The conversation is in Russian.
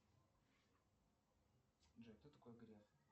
джой кто такой греф